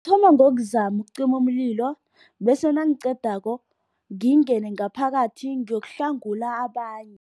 Ngokuzama ukucima umlilo bese nangiqedako ngingene ngaphakathi ngiyokuhlangula abanye.